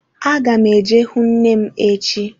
Aga m eje hụ nne m echi.